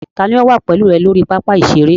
Ta ni ó wà pẹ̀lú rẹ lórí pápá ìṣeré?